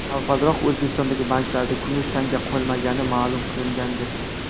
Avvalroq, O‘zbekistondagi banklarda kumush tanga qolmagani ma’lum qilingandi .